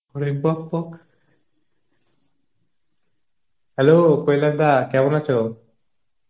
আরে বা বা, hello কৈলাশ দা কেমন আছো?